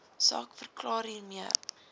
saak verklaar hiermee